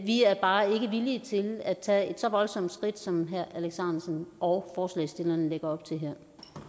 vi er bare ikke villige til at tage et så voldsomt skridt som herre alex ahrendtsen og forslagsstillerne lægger op til her